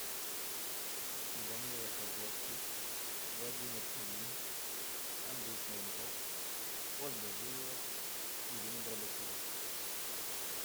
данила козловский владимир ильин андрей смоленков ольга зуева ирина горбачева